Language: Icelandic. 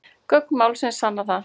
Gögn málsins sanni það